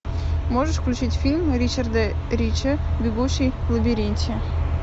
можешь включить фильм ричарда рича бегущий в лабиринте